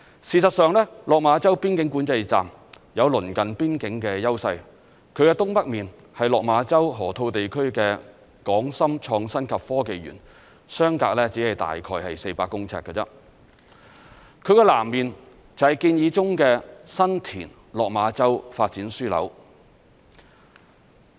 事實上，落馬洲邊境管制站有鄰近邊境的優勢，其東北面是落馬洲河套地區的港深創新及科技園，相隔只是大概400公尺，其南面便是建議中的新田/落馬洲發展樞紐。